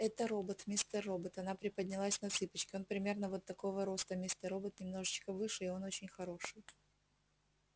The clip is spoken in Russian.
это робот мистер робот она приподнялась на цыпочки он примерно вот такого роста мистер робот немножечко выше и он очень хороший